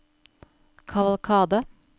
kavalkade